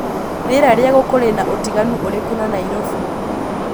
rĩera ria gukũ rĩna utiganu ũrĩkũ na Nairobi